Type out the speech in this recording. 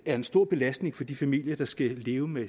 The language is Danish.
er en stor belastning for de familier der skal leve med